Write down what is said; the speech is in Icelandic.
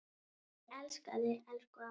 Ég elska þig, elsku amma.